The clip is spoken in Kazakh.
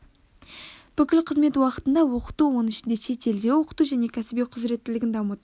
бүкіл қызмет уақытында оқыту оның ішінде шетелде оқыту және кәсіби құзыреттілігін дамыту